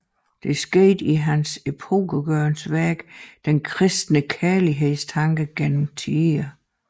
Det skete i hans epokegørende værk Den kristne kærlighedstanke gennem tiderne